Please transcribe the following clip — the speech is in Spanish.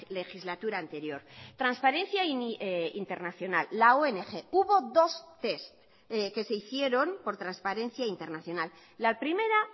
legislatura anterior transparencia internacional la ong hubo dos test que se hicieron por transparencia internacional la primera